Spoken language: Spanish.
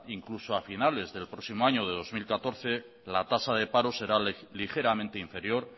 incluso a finales del próximo año del dos mil catorce la tasa de paro será ligeramente inferior